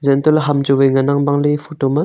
untohley ham chu ngan ang bangley e photo ma.